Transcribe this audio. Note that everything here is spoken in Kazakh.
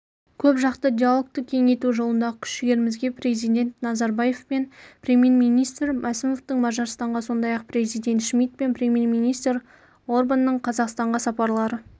көпжақты диалогты кеңейту жолындағы күш-жігерімізге президент назарбаев пен премьер-министр мәсімовтің мажарстанға сондай-ақ президент шмитт пен премьер-министр орбанның қазақстанға сапарлары